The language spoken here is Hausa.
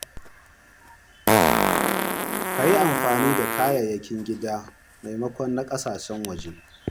Ka yi amfani da kayayyakin gida maimakon na kasashen waje.